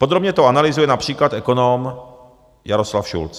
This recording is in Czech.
Podrobně to analyzuje například ekonom Jaroslav Šulc.